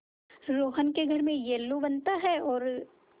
रोहन के घर में येल्लू बनता है और